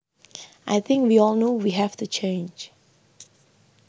I think we all know we have to change